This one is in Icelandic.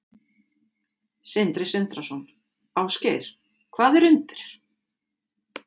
Sindri Sindrason: Ásgeir, hvað er undir?